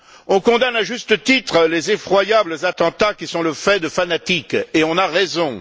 On condamne, à juste titre, les effroyables attentats qui sont le fait de fanatiques et on a raison.